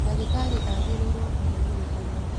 Ndagĩtarĩ agĩrĩirwo kũheo gĩtĩo.